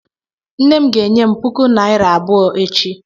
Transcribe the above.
Nne m ga-enye m puku naịra abụọ echi.